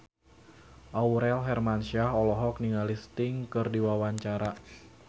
Aurel Hermansyah olohok ningali Sting keur diwawancara